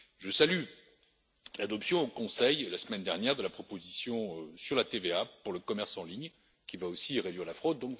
Je salue l'adoption au Conseil, la semaine dernière, de la proposition sur la TVA pour le commerce en ligne, qui va aussi réduire la fraude.